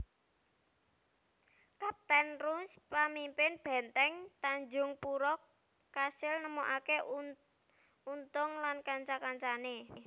Kaptèn Ruys pamimpin bèntèng Tanjungpura kasil nemokaké Untung lan kanca kancané